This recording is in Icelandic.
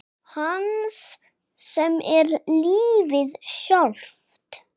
Hans sem er lífið sjálft.